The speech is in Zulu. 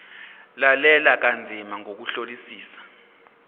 lalela kanzima ngokuhlolisisa